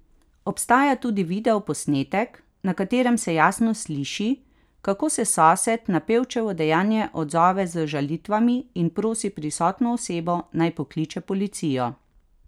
Obstaja tudi videoposnetek, na katerem se jasno sliši, kako se sosed na pevčevo dejanje odzove z žalitvami in prosi prisotno osebo naj pokliče policijo.